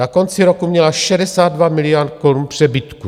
Na konci roku měla 62 miliard korun přebytku.